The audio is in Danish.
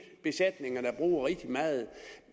de besætninger der bruger rigtig meget